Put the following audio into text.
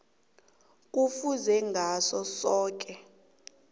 kufuze ngaso soke